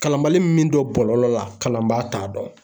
Kalanbali min don bɔlɔlɔ la kalanbaa t'a dɔn